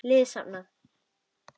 Liði safnað.